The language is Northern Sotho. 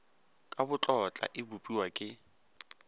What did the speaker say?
ka botlotla e bopiwa ke